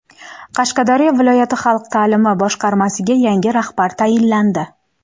Qashqadaryo viloyat xalq ta’limi boshqarmasiga yangi rahbar tayinlandi.